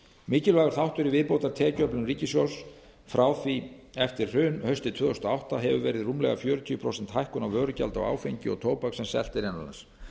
mikilvægur þáttur í viðbótartekjuöflun ríkissjóðs frá því eftir hrun haustið tvö þúsund og átta hefur verið rúmlega fjörutíu prósent hækkun á vörugjaldi á áfengi og tóbak sem selt er innan lands